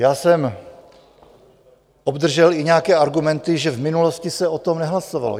Já jsem obdržel i nějaké argumenty, že v minulosti se o tom nehlasovalo.